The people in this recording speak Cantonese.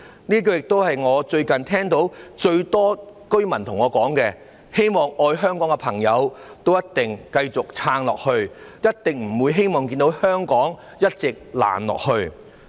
這一句亦是我最近經常聽到最多居民對我說的話，希望愛香港的朋友一定要繼續撐下去，他們一定不希望看到香港一直"爛下去"。